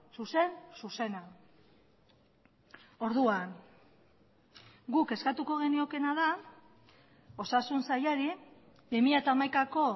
zuzen zuzena orduan guk eskatuko geniokeena da osasun sailari bi mila hamaikako